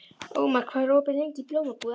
Ómar, hvað er opið lengi í Blómabúð Akureyrar?